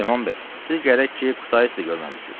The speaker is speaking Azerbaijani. Süleyman bəy, siz gərək ki, Kutaisi də görməmisiniz.